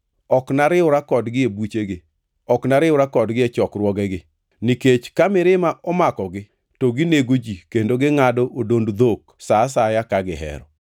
Ok nariwra kodgi e buchegi, ok nariwra kodgi e chokruogegi, nikech ka mirima omakogi to ginego ji kendo gingʼado odond dhok sa asaya ka gihero.